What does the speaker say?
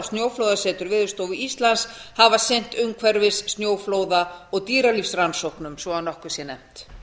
og snjóflóðasetur veðurstofu íslands hafa sinnt umhverfis snjóflóða og dýralífsrannsóknum svo að nokkuð sé nefnt